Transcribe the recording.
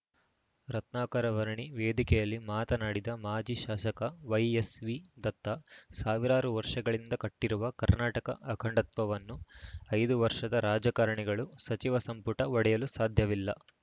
ರತ್ನಾಕರ ವರ್ಣಿ ವೇದಿಕೆಯಲ್ಲಿ ಮಾತನಾಡಿದ ಮಾಜಿ ಶಾಸಕ ವೈಎಸ್‌ವಿದತ್ತಾ ಸಾವಿರಾರು ವರ್ಷಗಳಿಂದ ಕಟ್ಟಿರುವ ಕರ್ನಾಟಕ ಅಖಂಡತ್ವವನ್ನು ಐದು ವರ್ಷದ ರಾಜಕಾರಣಿಗಳು ಸಚಿವ ಸಂಪುಟ ಒಡೆಯಲು ಸಾಧ್ಯವಿಲ್ಲ